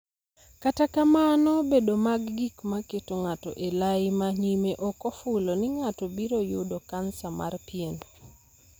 Kata kamano, bedo mag gik ma keto ng'ato e lai ma nyime ok ofulo ni ng'ato biro yudo kansa mar pien.